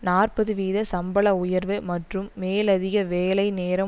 நாற்பது வீத சம்பள உயர்வு மற்றும் மேலதிக வேலை நேரம்